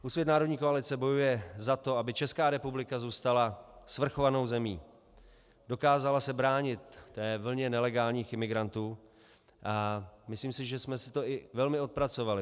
Úsvit - národní koalice bojuje za to, aby Česká republika zůstala svrchovanou zemí, dokázala se bránit té vlně nelegálních imigrantů, a myslím si, že jsme si to i velmi odpracovali.